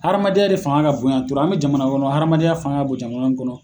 Hadamadenya de fanga ka bonyan toro an be jamana kɔnɔ hadamadenya fanga ka bon jamana min kɔnɔ